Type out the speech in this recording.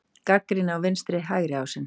Gagnrýni á vinstri-hægri ásinn